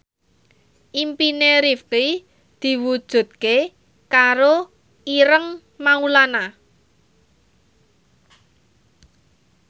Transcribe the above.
impine Rifqi diwujudke karo Ireng Maulana